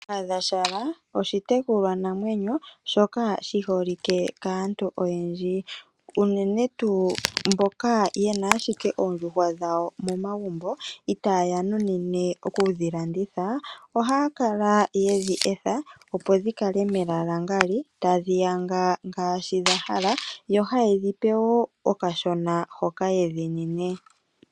Kahadhagumbo oshitekulwanamwenyo shoka shi holike kaantu oyendji, unene tuu mboka ye na ashike oondjuhwa dhawo momagumbo itaya munine oku dhi landitha. Ohaya kala ye dhi etha, opo dhi yange melalangali, tadhi yanga ngaashi dha hala yo haye dhi pe wo okashona hoka ye dhi nine.